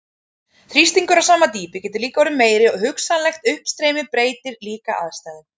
Þrýstingur á sama dýpi getur líka orðið meiri og hugsanlegt uppstreymi breytir líka aðstæðum.